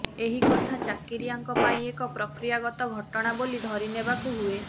ଏହି କଥା ଚାକିରୀଆଙ୍କ ପାଇଁ ଏକ ପ୍ରକ୍ରିୟାଗତ ଘଟଣା ବୋଲି ଧରିନେବାକୁ ହୁଏ